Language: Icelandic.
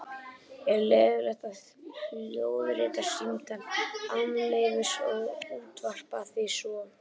Er leyfilegt að hljóðrita símtal án leyfis og útvarpa því svo?